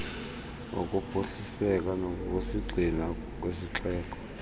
wokuphuhliseka ngokusisigxina kwesixeko